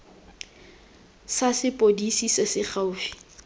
sa sepodisi se se gaufi